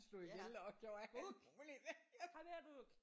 Ja Vuk kom her Vuk